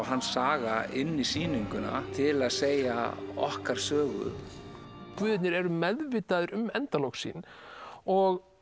hans saga inn í sýninguna til að segja okkar sögu guðirnir eru meðvitaðir um endalok sín og